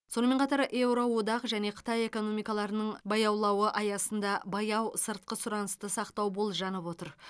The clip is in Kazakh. сонымен қатар еуродақ және қытай экономикаларының баяулауы аясында баяу сыртқы сұранысты сақтау болжанып отыр